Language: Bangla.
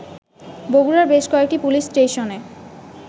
বগুড়ার বেশ কয়েকটি পুলিস স্টেশনে